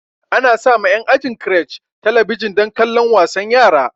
Ana sa ma en ajin crèche talabijan dan kallon wasan yara